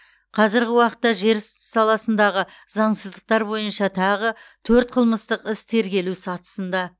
қазіргі уақытта жер сс саласындағы заңсыздықтар бойынша тағы төрт қылмыстық іс тергелу сатысында